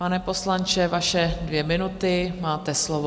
Pane poslanče, vaše dvě minuty, máte slovo.